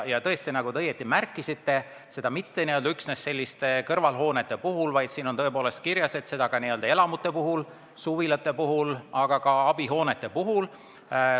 Ja tõesti, nagu te õigesti märkisite, seda mitte üksnes kõrvalhoonete puhul, vaid ka elamute puhul, suvilate puhul, abihoonete puhul.